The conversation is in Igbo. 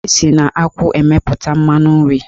Esi na akwụ emepụta mmanụ nri.